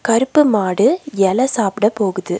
கருப்பு மாடு எல சாப்ட போகுது.